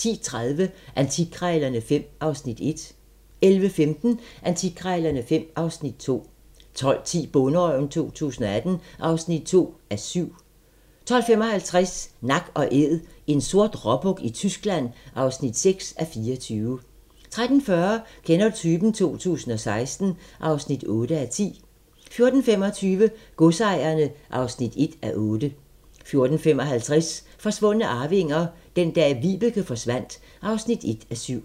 10:30: Antikkrejlerne XV (Afs. 1) 11:15: Antikkrejlerne XV (Afs. 2) 12:10: Bonderøven 2018 (2:7) 12:55: Nak & Æd - en sort råbuk i Tyskland (6:24) 13:40: Kender du typen? 2016 (8:10) 14:25: Godsejerne (1:8) 14:55: Forsvundne arvinger: Den dag Vibeke forsvandt (1:7)